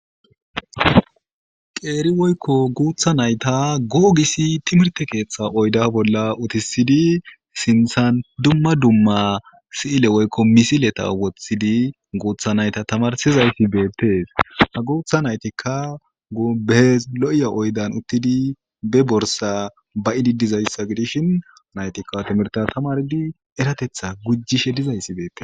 qeeri woykko guutha nayta googisi timirte keeththa oyda bolla utisidi sinthan dumma dumma si7ile woykko misileta woththidi guutha nayta tamarsizayti beettees a guutha naytikka gubehes lo7ya oydan uttidi be borsa ba idi dizayssa gidishin naytikka timirta tamardi eratetha gujjishe dizayssi beette